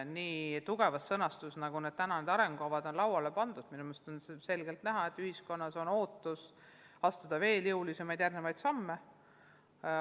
Nii tugevas sõnastuses, nagu need arengukavad on lauale pandud, on minu meelest selgelt näha, et ühiskonnas on ootus, et astutaks veel jõulisemaid samme.